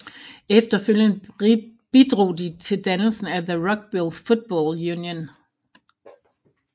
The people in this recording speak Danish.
Efterfølgende bidrog de til dannelsen af the Rugby Football Union